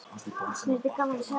Mér þætti gaman að sjá hann.